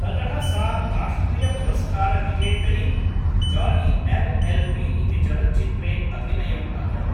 ततः सा राष्ट्रियपुरस्कारविजेतरि जाली एल् एल् बी इति चलच्चित्रे अभिनयम् अकरोत् ।